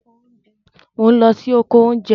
Mò n lọ sí oko oúnjẹ